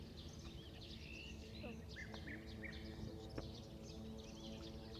топ десяти лучших мест вьетнама